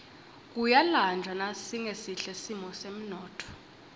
kuyalanjwa nasingesihle simo semnotfo